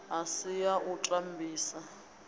a si ya u tambisa